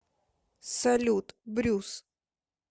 салют брюс